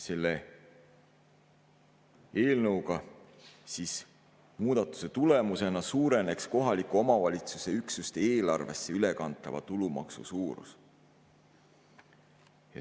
Selles eelnõus muudatuse tulemusena suureneks kohaliku omavalitsuse üksuste eelarvesse ülekantava tulumaksu suurus.